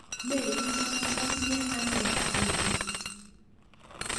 Meiimo matinye ane rapinik